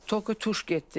Tökü tuş getdi.